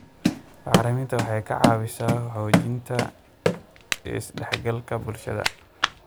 Bacriminta waxay ka caawisaa xoojinta is dhexgalka bulshada.